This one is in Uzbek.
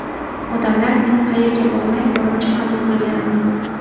Odamlar meni qayerga bormay, borimcha qabul qilgani ma’qul”.